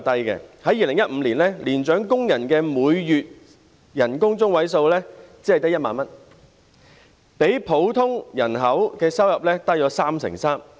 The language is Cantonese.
在2015年，年長工人的每月收入中位數只有1萬元，較整體工作人口的收入低 33%。